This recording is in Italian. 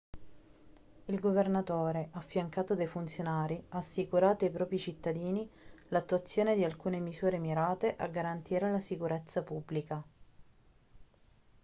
il governatore affiancato dai funzionari ha assicurato ai propri cittadini l'attuazione di alcune misure mirate a garantire la sicurezza pubblica